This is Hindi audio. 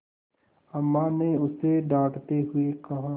अम्मा ने उसे डाँटते हुए कहा